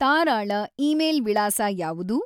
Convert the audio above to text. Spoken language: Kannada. ತಾರಾಳ ಇಮೇಲ್ ವಿಳಾಸ ಯಾವುದು?